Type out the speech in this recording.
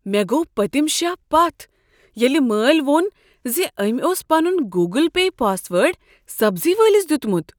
مےٚ گوٚو پٔتم شاہ پتھ ییٚلہ مٲلۍ ووٚن ز أمۍ اوس پنن گوگٕل پے پاس وٲرڈ سبزی وٲلس دیتمت۔